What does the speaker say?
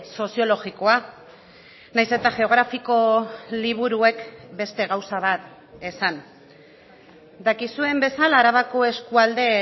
soziologikoa nahiz eta geografiko liburuek beste gauza bat esan dakizuen bezala arabako eskualde